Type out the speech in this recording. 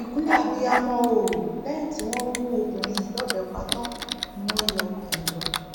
ìkúnlẹ abiyamọ o lẹyìn tí wọn gún obìnrin yìí lọbẹ pa tán ni wọn yọ ọkàn ẹ lọ